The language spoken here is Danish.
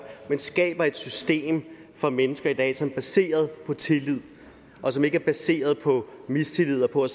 men skaber et system for mennesker i dag som er baseret på tillid og som ikke er baseret på mistillid og på